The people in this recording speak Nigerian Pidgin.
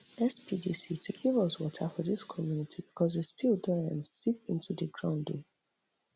[spdc] to give us water for dis community becos di spill don um seep into di ground um